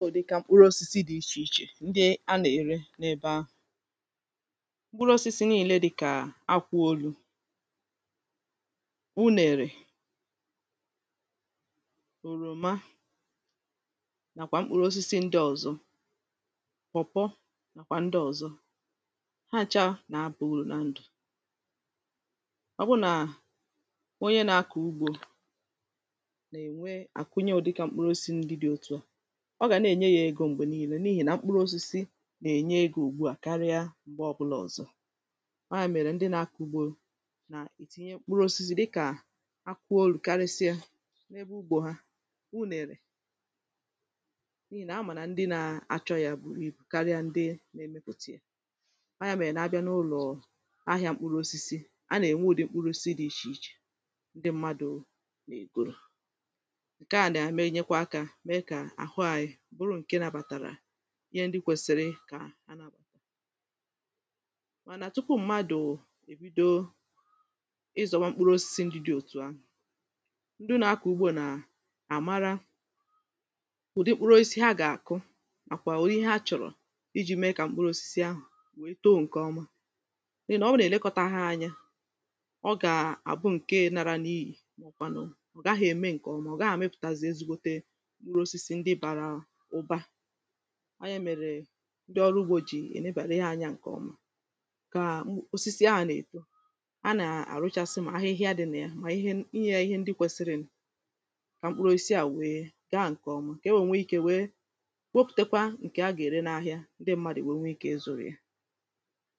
ndị a na-ère n’ebe ahụ̇ mkpụrụ osisi n’ile dịkà akwụolu unèrè òròma nàkwà mkpụrụ osisi ndị ọ̀zọ mọ̀pọ̀ nàkwà ndị ọ̀zọ ha àcha nà-abụ̇ mụrụ na ndụ̀ ọ̀bụnà onye nà-akọ̀ ugbȯ nà-ènwe àkụnye ọ̀dịka mkpụrụ osisi ndị dị̇ otuà na-ènye yȧ egȯ m̀gbè niilė n’ihì na mkpụrụ̇osisi na-ènye egȯ ùgbua karịa m̀gbe ọbụlà ọ̀zọ anya mèrè ndị na-akụ̇ ugbȯ nà ìtìnye mkpụrụosisi dịkà akụolu̇ karịsịa n’ebe ugbȯ ha unèrè n’ihì nà amà nà ndị na-achọ yȧ bụ̀ n’ibu karịa ndị na-emekwùtì ya anya mèrè n’abịa n’ụlọ̀ ahịa mkpụrụ osisi a nà-ènwe ùdị mkpụrụ osisi dị̇ ichè ichè ndị mmadụ̇ n’ègòrò ǹkèa nà-àmee nyekwa aka mee kà àhụ anyị ihe ndị kwèsìrì kà a na-abàkọ̀ mànà tupu mmadụ̀ èbido ịzọ̀ ma mkpụrụ osisi ndị dị òtù ahụ̀ ndị na-akọ̀ ugbȯ nà àmara ụ̀dị mkpụrụ osisi, ha gà-àkụ àkwà ụ̀dị ihe a chọ̀rọ̀ iji̇ mee kà mkpụrụ osisi ahụ̀ wèe too ǹkè ọma nà-ọbụ nà-èlekọtaghị anyȧ ọ gà àbụ ǹke nara n’ihì màọ̀bụ̀kwànụ̀ ọ̀ gaghị̇ ème ǹkèọma, ọ̀ gà-àmepùtazì ezigbote ndị ọrụ ugbȯ jì ènebàra ihe anyȧ ǹkèọma kà m osisi a nà-èto a nà-àrụchasị mà ahịhịa dịnà ya mà ihe ihe ihe ndị kwesiri n kà mkpụrụ osisi à wèe gaa ǹkèọma kà e wèe nwee ikė wèekopùtekwa ǹkè a gà-ère n’ahịa ndị mmadụ̀ wèe nwee ikė ịzụ̇rị̀ ya